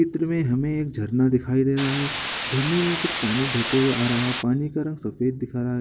चित्र में हमें एक झरना दिखाई दे रहा है झरने में कुछ पानी बहते हुए आ रहा है पानी का रंग सफेद दिख रहा है।